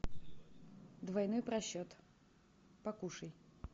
двойной просчет покушай